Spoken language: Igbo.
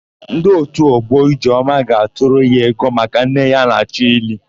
Ndị òtù ọgbọ Ijeọma ga-atụrụ ya ego maka nne ya a na-achọ ili.